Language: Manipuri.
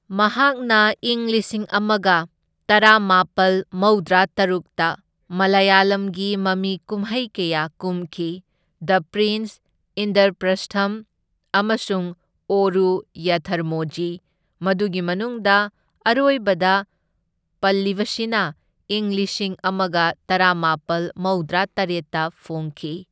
ꯃꯍꯥꯛꯅ ꯏꯪ ꯂꯤꯁꯤꯡ ꯑꯃꯒ ꯇꯔꯥꯃꯥꯄꯜ ꯃꯧꯗ꯭ꯔꯥꯇꯔꯨꯛꯇ ꯃꯂꯌꯥꯂꯝꯒꯤ ꯃꯃꯤꯀꯨꯝꯍꯩ ꯀꯌꯥ ꯀꯨꯝꯈꯤ꯫ ꯗ ꯄ꯭ꯔꯤꯟ꯭ꯁ, ꯏꯟꯗ꯭ꯔ ꯄ꯭ꯔꯁꯊꯝ, ꯑꯃꯁꯨꯡ ꯑꯣꯔꯨ ꯌꯥꯊ꯭ꯔꯃꯣꯓꯤ, ꯃꯗꯨꯒꯤ ꯃꯅꯨꯡꯗ ꯑꯔꯣꯏꯕꯗ ꯄꯜꯂꯤꯕꯁꯤꯅ ꯏꯪ ꯂꯤꯁꯤꯡ ꯑꯃꯒ ꯇꯔꯥꯃꯥꯄꯜ ꯃꯧꯗ꯭ꯔꯥꯇꯔꯦꯠꯇ ꯐꯣꯡꯈꯤ꯫